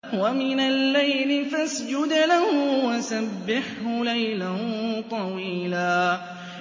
وَمِنَ اللَّيْلِ فَاسْجُدْ لَهُ وَسَبِّحْهُ لَيْلًا طَوِيلًا